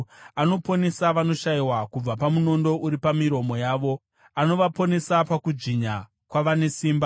Anoponesa vanoshayiwa kubva pamunondo uri pamiromo yavo; anovaponesa pakudzvinya kwavane simba.